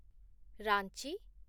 Ranchi